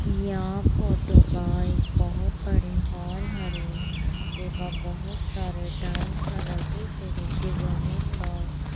यहां फोटो का एक बहोत बड़े हॉल हरे जेम बहुत सारे टाइल्स लगी से नीचे जमीन बा--